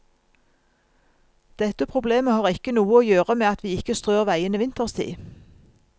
Dette problemet har ikke noe å gjøre med at vi ikke strør veiene vinterstid.